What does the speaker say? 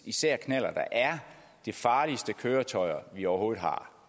især knallerter er de farligste køretøjer vi overhovedet har